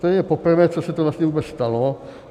To je poprvé, co se to vlastně vůbec stalo.